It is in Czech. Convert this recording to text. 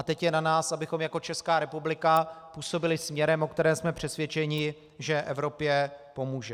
A teď je na nás, abychom jako Česká republika působili směrem, o kterém jsme přesvědčeni, že Evropě pomůže.